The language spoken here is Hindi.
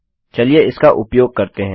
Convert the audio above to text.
चलिए इसका उपयोग करते हैं